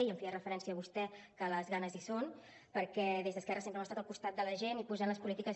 i feia referència vostè que les ganes hi són perquè des d’esquerra sempre hem estat al costat de la gent i posant les polítiques